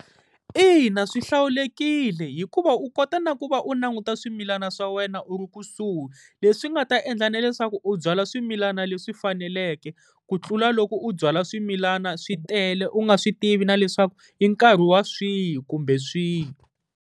Ina, swi hlawulekile hikuva u kota na ku va u languta swimilana swa wena u ri kusuhi, leswi nga ta endla na leswaku u byala swimilana leswi faneleke. Ku tlula loko u byala swimilana swi tele u nga swi tivi na leswaku i nkarhi wa swihi kumbe swihi.